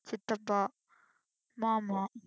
சித்தப்பா, மாமா